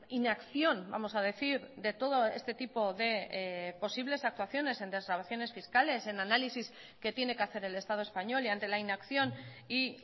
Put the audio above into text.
inacción vamos a decir de todo este tipo de posibles actuaciones en desgravaciones fiscales en análisis que tiene que hacer el estado español y ante la inacción y